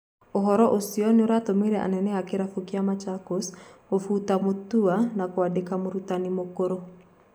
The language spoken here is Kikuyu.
Uhoro ucio nuuratũmire anene a Kĩrabũ kia Machakos gũbũta Mutua na kuandĩka mũrũtani mũkũrũ.